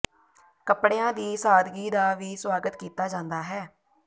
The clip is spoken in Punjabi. ਕੱਪੜਿਆਂ ਦੀ ਸਾਦਗੀ ਦਾ ਵੀ ਸੁਆਗਤ ਕੀਤਾ ਜਾਂਦਾ ਹੈ